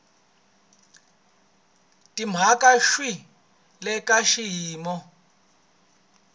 timhaka swi le ka xiyimo